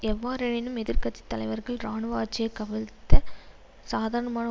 எவ்வாறெனினும் எதிர் கட்சி தலைவர்கள் இராணுவ ஆட்சியை கவிழ்த்த சாதாரண